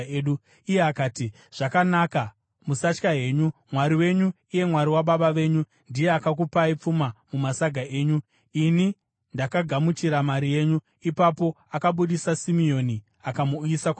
Iye akati, “Zvakanakai. Musatya henyu Mwari wenyu, iye Mwari wababa venyu, ndiye akakupai pfuma mumasaga enyu, ini ndakagamuchira mari yenyu.” Ipapo akabudisa Simeoni akamuuyisa kwavari.